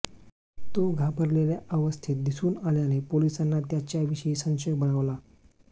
तो घाबरलेल्या अवस्थेत दिसून आल्याने पोलिसांना त्याच्याविषयी संशय बळावला